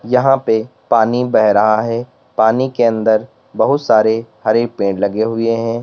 यहां पे पानी बह रहा है पानी के अंदर बहुत सारे हरे पेड़ लगे हुए हैं।